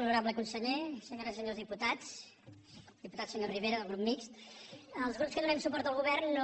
honorable conseller senyores i senyors diputats diputat senyor rivera del grup mixt els grups que donem suport al govern